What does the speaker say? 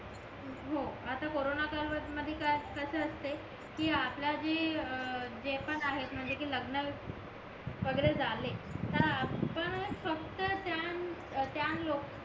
हो आता कोरोना कालवद मध्ये काय कशे असते कि आपला जे जे पण आहेत म्हणजे कि लग्नन वगैरे झाले तर आपणच फक्त त्या लोकांना